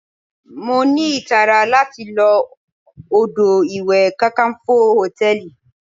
Mo ní ìtara láti lo odò ìwẹ̀ Kakanfo Hòtẹ́lìì.